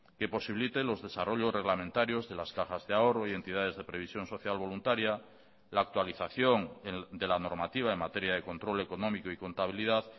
que posibiliten los desarrollos reglamentarios de las cajas de ahorro y entidades de previsión social voluntaria la actualización de la normativa en materia de control económico y contabilidad